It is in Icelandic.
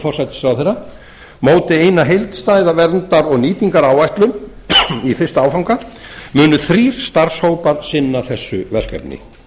forsætisráðherra móti eina heildstæða verndar og nýtingaráætlun í fyrsta áfanga munu þrír starfshópar sinna þessu verkefni